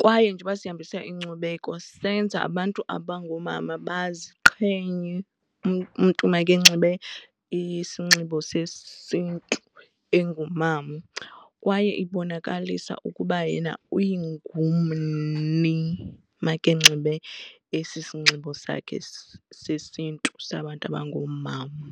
kwaye njengoba sihambisa inkcubeko senza abantu abangoomama baziqhenye umntu makenxibe isinxibo sesiNtu engumama kwaye ibonakalisa ukuba yena ungumni makanxibe esi isinxibo sakhe sesiNtu sabantu abangoomama.